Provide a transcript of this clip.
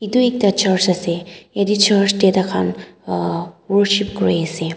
etu ekta church ase yate church te taikhan ah worship kuri ase.